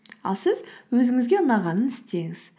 ал сіз өзіңізге ұнағанын істеңіз